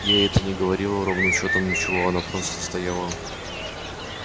ей это не говорило ровным счётом ничего она просто стояла